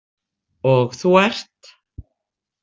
Og þú ert?